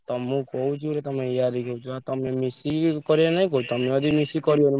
ତ ମୁଁ କହୁଚି ଗୋଟେ ତମେ ୟାରିକି ହେଉଚ ତମେ ମିସିକି କରିଆନି କି ତମେ ଯଦି ମିସିକି କରିବନି।